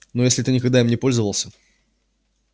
но если ты никогда им не пользовался